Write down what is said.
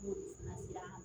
N'olu na sera